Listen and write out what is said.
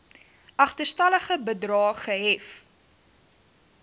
agterstallige bedrae gehef